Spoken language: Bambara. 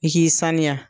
I k'i saniya